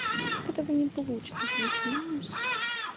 так этого не получится ты не понимаешь